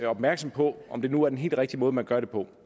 opmærksomme på om det nu er den helt rigtige måde man gør det på